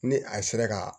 Ni a sera ka